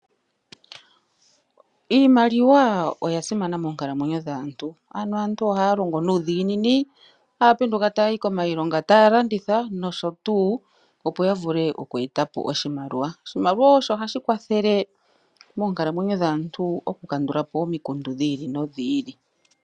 Iimaliwa oya simana moonkalamwenyo dhantu. Ano aantu ohaya longo nuudhigini haya penduka taya yi kiilonga . Taya landitha nosho tuu opo ya vule oku eta po oshimaliwa. Oshimaliwa osho hashi kwathele moonkalamwenyo dhantu oku kandulapo omikundu dhi ili no dhi ili.